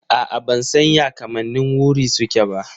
A'a ban san ya kamannin wuri suke ba.